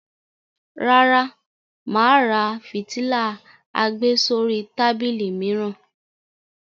Rárá, mà á ra fìtílà àgbésórí tábìlì mìíràn.